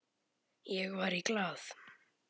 Ég var í Glað.